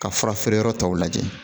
Ka fura feere yɔrɔ tɔw lajɛ